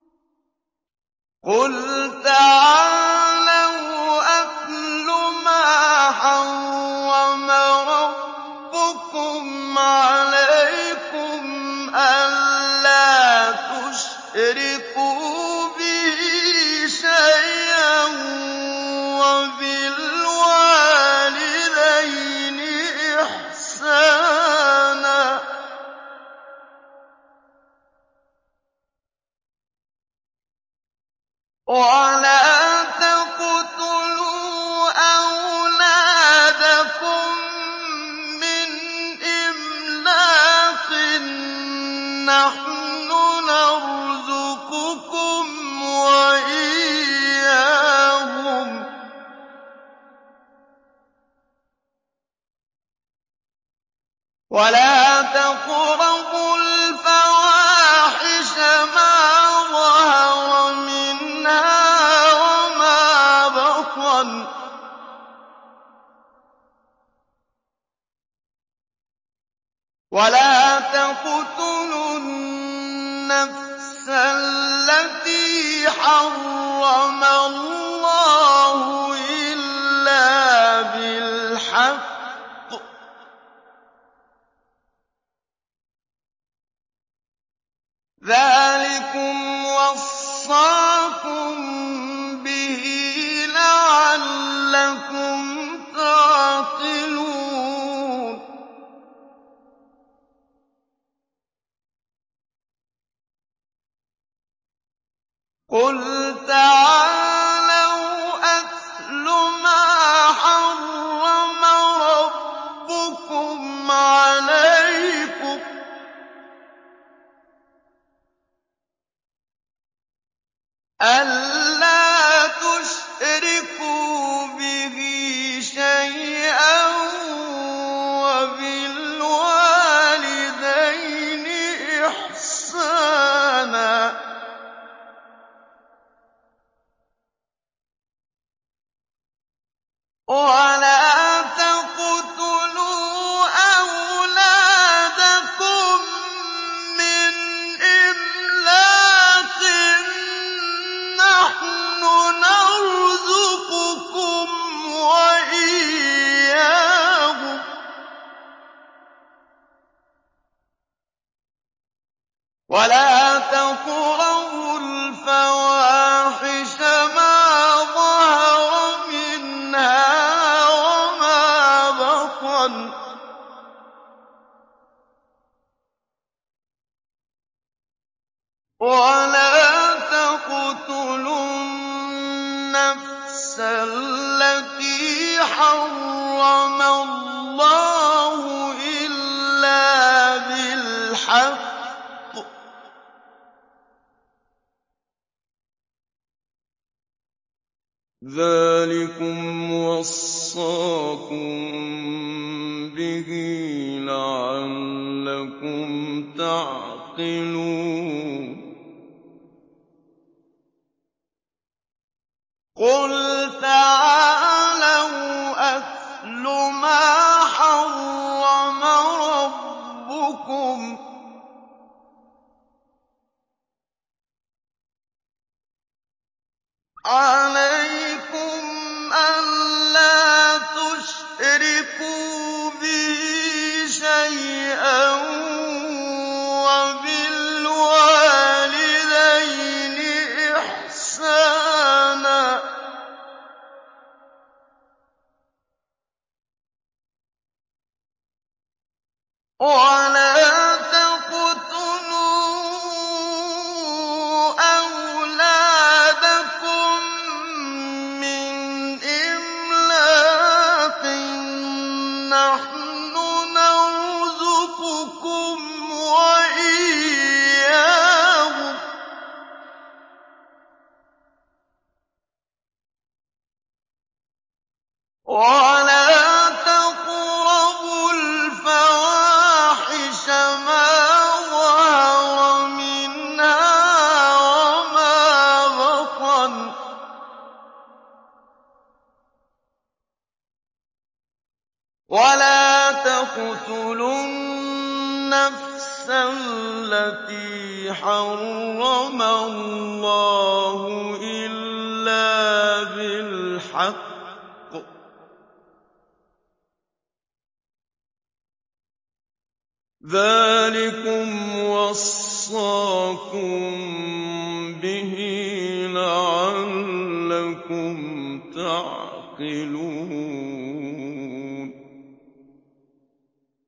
۞ قُلْ تَعَالَوْا أَتْلُ مَا حَرَّمَ رَبُّكُمْ عَلَيْكُمْ ۖ أَلَّا تُشْرِكُوا بِهِ شَيْئًا ۖ وَبِالْوَالِدَيْنِ إِحْسَانًا ۖ وَلَا تَقْتُلُوا أَوْلَادَكُم مِّنْ إِمْلَاقٍ ۖ نَّحْنُ نَرْزُقُكُمْ وَإِيَّاهُمْ ۖ وَلَا تَقْرَبُوا الْفَوَاحِشَ مَا ظَهَرَ مِنْهَا وَمَا بَطَنَ ۖ وَلَا تَقْتُلُوا النَّفْسَ الَّتِي حَرَّمَ اللَّهُ إِلَّا بِالْحَقِّ ۚ ذَٰلِكُمْ وَصَّاكُم بِهِ لَعَلَّكُمْ تَعْقِلُونَ